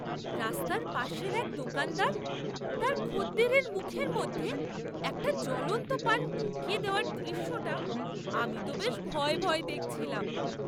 রাস্তার পাশের এক দোকানদার তার খদ্দেরের মুখের মধ্যে একটা জ্বলন্ত পান ঢুকিয়ে দেওয়ার দৃশ্যটা আমি তো বেশ ভয়ে ভয়ে দেখছিলাম!